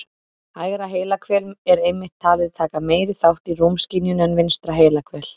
Hægra heilahvel er einmitt talið taka meiri þátt í rúmskynjun en vinstra heilahvel.